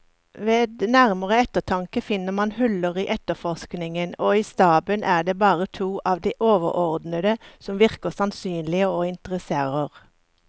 Ved nærmere eftertanke finner man huller i efterforskningen, og i staben er det bare to av de overordnede som virker sannsynlige og interesserer.